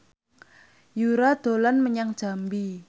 Yura dolan menyang Jambi